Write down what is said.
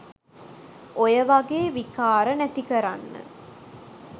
ඔය වගේ විකාර නැති කරන්න